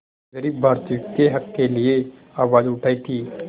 ग़रीब भारतीयों के हक़ के लिए आवाज़ उठाई थी